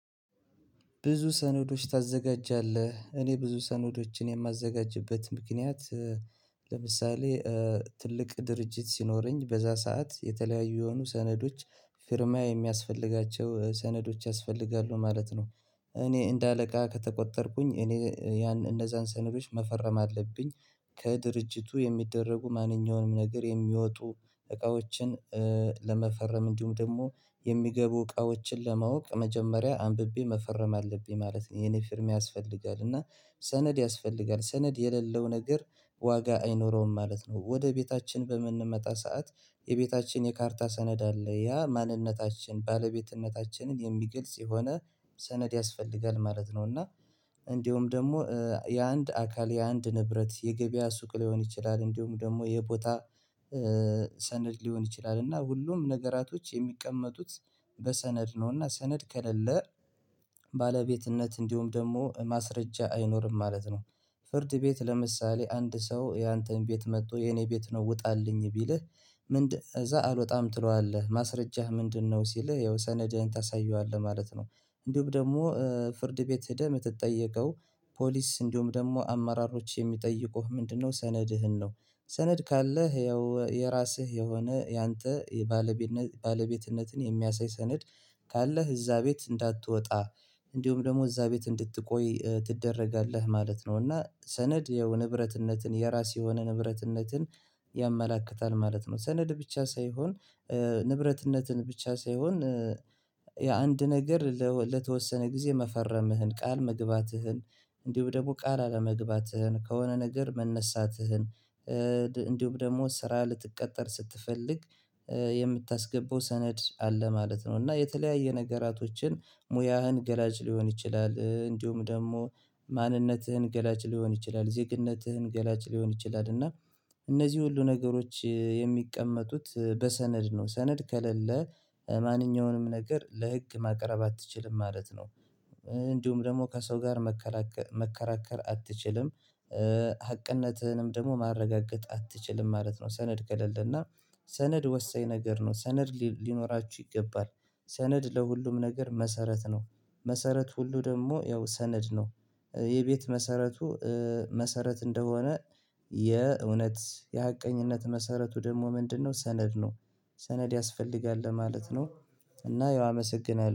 ብዙ ሰነዶች ታዘጋጃለህ እኔ ብዙ ሰነዶችን የማዘጋጅበት ምክንያት ለምሳሌ ትልቅ ድርጅት ሲኖረኝ በዛ ሰዓት የተለያዩ የሆኑ ሰነዶች ፊርማ የሚያስፈልጋቸው ሰነዶች ያስፈልጋሉ ማለት ነው። እኔ እንደ አለቃ ከተቆጠርኩኝ እኔ ያን እነዛን ሰነዶች መፈረም አለብኝ። ከድርጅቱ የሚደረጉ ማንኛውንም ነገር የሚወጡ እቃዎችን ለመፈረም እንዲሁም ደግሞ የሚገቡ እቃዎችን ለማወቅ መጀመሪያ አንብቤ መፈረም አለብኝ ማለት ነው። የኔ ፊርማ ያስፈልጋል እና ሰነድ ያስፈልጋል ሰነድ የሌለው ነገር ዋጋ አይኖረውም ማለት ነው። ወደ ቤታችን በምንመጣ ሰዓት የቤታችን የካርታ ሰነድ አለ ያ ማንነታችን ባለቤትነታችንን የሚገልጽ የሆነ ሰነድ ያስፈልጋል ማለት ነው። እና እንደውም ደግሞ የአንድ አካል የአንድ ንብረት የገበያ ሱቅ ሊሆን ይችላል እንዲሁም ደግሞ የቦታ ሰነድ ሊሆን ይችላል። እና ሁሉም ነገራቶች የሚቀመጡት በሰነድ ነው እና ሰነድ ከሌለ ባለቤትነት እንዲሁም ደግሞ ማስረጃ አይኖርም ማለት ነው። ፍርድ ቤት ለምሳሌ አንድ ሰው ያንተን ቤት መጥቶ የኔ ቤት ነው ውጣልኝ ቢልህ። ምንድነው እዛ አልወጣም ትለዋለህ ማስረጃህ ምንድነው? ሲልህ ያው ሰነድህን ታሳየዋለህ ማለት ነው። እንዲሁም ደግሞ ፍርድ ቤት ሄደህ የምትጠየቀው ፖሊስ እንዲሁም ደግሞ አማራሮች የሚጠይቁህ ምንድነው ሰነድህን ነው። ሰነድ ካለህ ያው የራስህ የሆነ ያንተ ባለቤትነትን የሚያሳይ ሰነድ። ካለህ እዛ ቤት እንዳትወጣ እንዲሁም ደግሞ እዛ ቤት እንድትቆይ ትደረጋለህ ማለት ነው። እና ሰነድ ያው ንብረትነትን የራስ የሆነ ንብረትነትን ያመላክታል ማለት ነው። ሰነድ ብቻ ሳይሆን ንብረትነትን ብቻ ሳይሆን የአንድ ነገር ለተወሰነ ጊዜ መፈረምህን ቃል መግባትህን እንዲሁ ደግሞ ቃል አለመግባትህን ከሆነ ነገር መነሳትህን እንዲሁም ደግሞ ስራ ልትቀጠር ስትፈልግ የምታስገባው ሰነድ አለ ማለት ነው። እና የተለያየ ነገራቶችን ሙያህን ገላጭ ሊሆን ይችላል እንዲሁም ደግሞ ማንነትህን ገላጭ ሊሆን ይችላል ዜግነትህን ገላጭ ሊሆን ይችላል እና እነዚህ ሁሉ ነገሮች የሚቀመጡት በሰነድ ነው። ሰነድ ከሌለ ማንኛውንም ነገር ለህግ ማቅረብ አትችልም ማለት ነው። እንዲሁም ደግሞ ከሰው ጋር መከራከር አትችልም። ሀቅነትህንም ደግሞ ማረጋገጥ አትችልም ማለት ነው። ሰነድ ከሌለና ሰነድ ወሳኝ ነገር ነው ሰነድ ሊኖራችሁ ይገባል። ሰነድ ለሁሉም ነገር መሰረት ነው። መሰረት ሁሉ ደግሞ ያው ሰነድ ነው። የቤት መሰረቱ መሰረት እንደሆነ የእውነት የሀቀኝነት መሰረቱ ደግሞ ምንድነው ሰነድ ነው? ሰነድ ያስፈልጋል ለማለት ነው። እና ያው አመሰግናለሁ